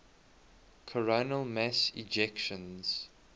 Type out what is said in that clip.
coronal mass ejections